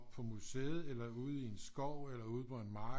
På museet eller ude i en skov eller ude på en mark